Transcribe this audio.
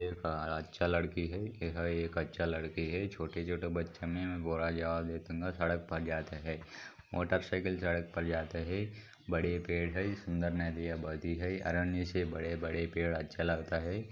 अच्छा लड़की है एक अच्छा लड़की है छोटे-छोटे बछे मे बुरा जवाल देतुंगा सड़क पर जाते है मोटरसाइकल सड़क पर जाते है बड़े पेड़ है सुन्दर नदिया बहती है आरण्य ऐसे बड़े-बड़े पेड़ अच्छा लगता है।